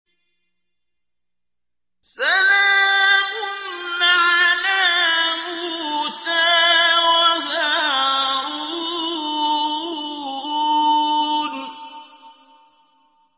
سَلَامٌ عَلَىٰ مُوسَىٰ وَهَارُونَ